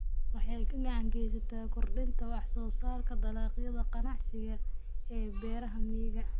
Waxay gacan ka geysataa kordhinta wax soo saarka dalagyada ganacsiga ee beeraha miyiga.